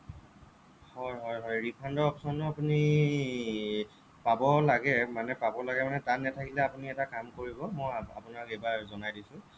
হ'য় হ'য় হ'য় refund ৰ option টো আপুনি পাব লাগে মানে পাব লাগে মানে তাত নাথাকিলে আপুনি এটা কাম কৰিব মই আপোনাক এইবাৰ জনাই দিছোঁ